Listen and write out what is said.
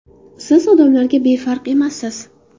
Siz odamlarga befarq emassiz.